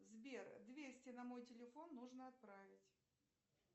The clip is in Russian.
сбер двести на мой телефон нужно отправить